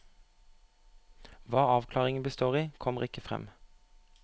Hva avklaringen består i, kommer ikke frem.